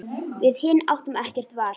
Við hin áttum ekkert val.